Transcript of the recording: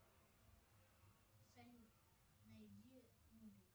салют найди